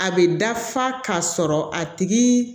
A bɛ dafa k'a sɔrɔ a tigi